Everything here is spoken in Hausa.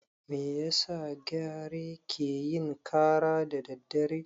Me yasa gyare ke yin ƙara da daddare?